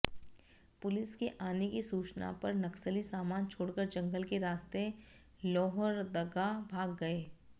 police के आने की सूचना पर नक्सली सामान छोड़कर जंगल के रास्ते लोहरदगा भाग गये